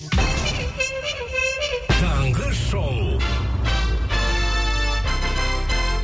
таңғы шоу